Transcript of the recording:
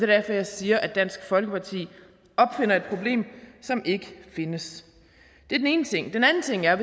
derfor jeg siger at dansk folkeparti opfinder et problem som ikke findes det er den ene ting den anden ting er at